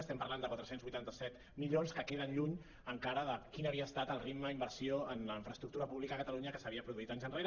estem parlant de quatre cents i vuitanta set milions que queden lluny encara de quin havia estat el ritme d’inversió en infraestructura pública a catalunya que s’havia produït anys enrere